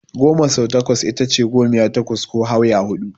Goma sau takwas itace gomiya takwas ko Hauya huɗu.